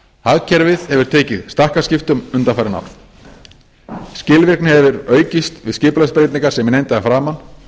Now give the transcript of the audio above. hagkerfið hefur tekið stakkaskiptum undanfarin ár skilvirkni hefur aukist við skipulagsbreytingar sem ég nefndi að framan